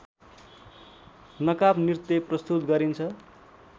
नकाबनृत्य प्रस्तुत गरिन्छ